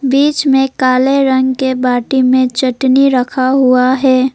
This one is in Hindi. बीच में काले रंग के बाटी में चटनी रखा हुआ है।